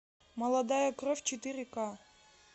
молодая кровь четыре ка